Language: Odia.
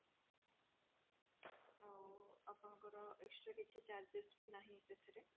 ଆଉ ଆପଣଙ୍କର extra କିଛି charges ବି ନାହିଁ ସେଥିରେ